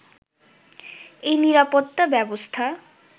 এই নিরাপত্তা ব্যবস্থা